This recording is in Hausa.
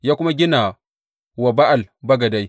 Ya kuma gina wa Ba’al bagadai.